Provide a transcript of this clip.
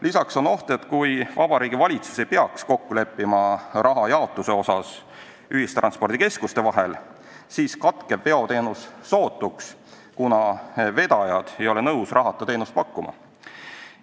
Lisaks on oht, et kui Vabariigi Valitsus ei suuda kokku leppida raha jaotuses ühistranspordikeskuste vahel, siis katkeb veoteenus sootuks, kuna vedajad ei ole nõus ilma rahata teenust pakkuma.